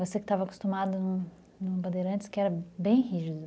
Você que estava acostumado no Bandeirantes, que era bem rígido.